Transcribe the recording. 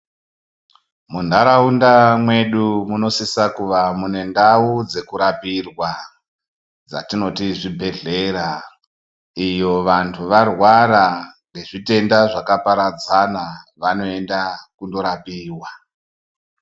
Muntaraunda mwedu munosisa kuva nendau dzekurapirwa, dzatinoti zvibhedhlera ,iyo vantu varwara ngezvitenda zvakaparadzana vanoenda kundorapiwa.